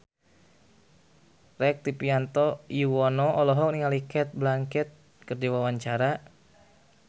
Rektivianto Yoewono olohok ningali Cate Blanchett keur diwawancara